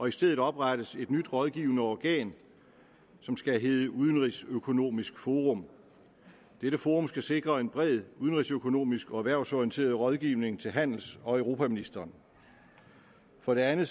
i stedet oprettes et nyt rådgivende organ som skal hedde udenrigsøkonomisk forum dette forum skal sikre en bred udenrigsøkonomisk og erhvervsorienteret rådgivning til handels og europaministeren for det andet